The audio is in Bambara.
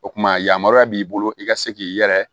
O kumana yamaruya b'i bolo i ka se k'i yɛrɛ